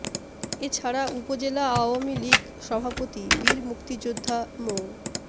এ ছাড়া উপজেলা আওয়ামী লীগ সভাপতি বীর মুক্তিযোদ্ধা মো